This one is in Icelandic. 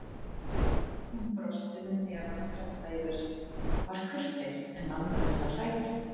Hún brosti með hnefana kreppta í vösunum, var kurteis en langaði til að hrækja.